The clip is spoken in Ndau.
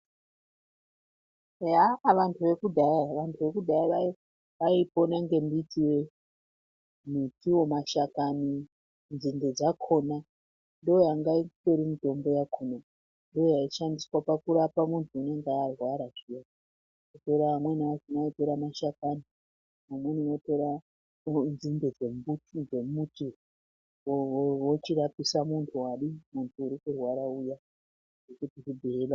Eyaah! vantu vekudhaya, vantu vekudhaya vaipona ngemitiyo, mashakani ,nzinde dzakona ndiyo yanga itori mitombo yakona ndiyo yaishandiswa pakurapa muntu unonga arwara zviya amweni aitora mashakani ,amweni otora nzinde dzemuti ochirapisa muntu arikurwara uya nekuti zvibhehleya kwanga kusina peya.